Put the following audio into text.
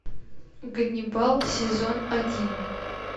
ганнибал сезон один